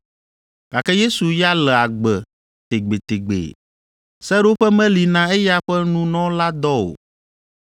gake Yesu ya le agbe tegbetegbe. Seɖoƒe meli na eya ƒe nunɔladɔ o.